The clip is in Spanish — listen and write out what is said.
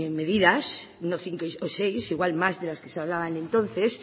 medidas no cinco o seis igual más de las que se hablaban entonces